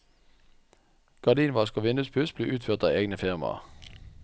Gardinvask og vinduspuss ble utført av egne firmaer.